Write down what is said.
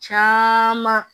Caman